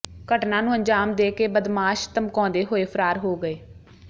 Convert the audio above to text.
ਘਟਨਾ ਨੂੰ ਅੰਜਾਮ ਦੇ ਕੇ ਬਦਮਾਸ਼ ਧਮਕਾਉਂਦੇ ਹੋਏ ਫਰਾਰ ਹੋ ਗਏ